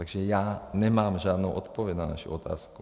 Takže já nemám žádnou odpověď na vaši otázku.